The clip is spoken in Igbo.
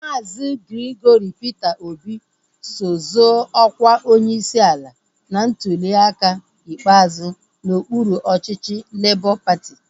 Maazi Gregory Peter Obi so zoo ọkwa onyeisi ala na ntuliaka ikpeazụ n'okpuru ọchịchị Labọ patị